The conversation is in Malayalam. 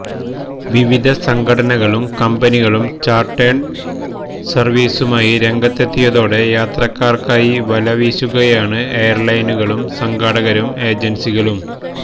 വിവിധ സംഘടനകളും കമ്ബനികളും ചാര്ട്ടേഡ് സര്വീസുമായി രംഗത്തെത്തിയതോടെ യാത്രക്കാര്ക്കായി വലവീശുകയാണ് എയര്ലൈനുകളും സംഘാടകരും ഏജന്സികളും